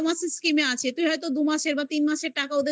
বারো মাসের scheme আছে. তুই হয়তো দু মাসের বা তিন মাসের টাকা ওদের দিয়ে